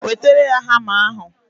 Wetara ya hama ahụ!